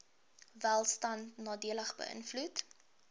welstand nadelig beïnvloed